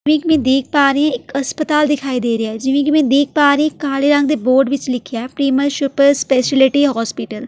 ਜਿਵੇਂ ਕੀ ਮੈਂ ਦੇਖ ਪਾ ਰਹੀ ਇੱਕ ਅਸਪਤਾਲ ਦਿਖਾਈ ਦੇ ਰਿਹਾ ਹੈ ਜਿਵੇਂ ਕੀ ਮੈਂ ਦੇਖ ਪਾ ਰਹੀ ਕਾਲੇ ਰੰਗ ਦੇ ਬੋਰਡ ਵਿਚ ਲਿਖਿਆ ਐ ਪ੍ਰਿਮਲ ਸ਼ੁਪਰ ਸਪੈਸ਼ਲਟੀ ਹੌਸਪੀਟਲ ।